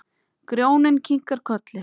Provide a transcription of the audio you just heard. Grjóni kinkar kolli.